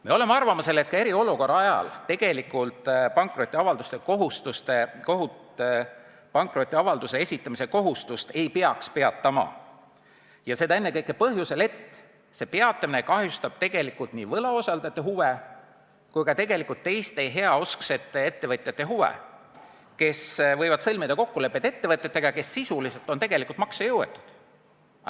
Me oleme arvamusel, et eriolukorra ajal ei peaks pankrotiavalduse esitamise kohustust peatama, ja seda ennekõike põhjusel, et peatamine kahjustab nii võlausaldajate huve kui ka teiste, heausksete ettevõtjate huve, kes teadmatusest võivad sõlmida kokkuleppeid ettevõtetega, kes tegelikult on maksejõuetud.